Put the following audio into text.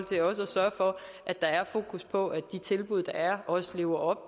sørge for at der er fokus på at de tilbud der er også lever